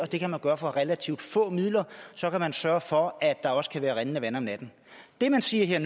det kan man gøre for relativt få midler og så kan man sørge for at der også kan være rindende vand om natten det man siger her